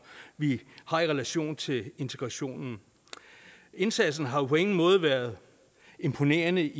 vi har i relation til integrationen indsatsen har år på ingen måde været imponerende